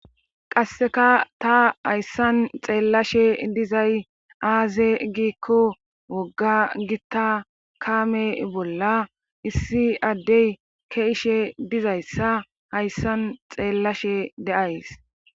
Qassekka ta hayssan xeelashe dizay hayssan aaze giiko woga gita kaame bolla issi adde ke'ishe dizayssa hayssan xeelashe de'ays.